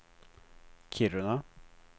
Kiruna